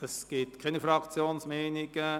Es gibt keine Fraktionsmeinungen.